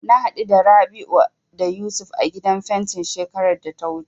Na haɗu da Rabi'u da Yusuf a gidan fentin shekarar da ta wuce.